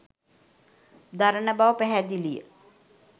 දරණ බව පැහැදිලිය